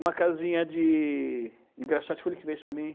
Uma casinha de de engraxate foi ele que vende para mim.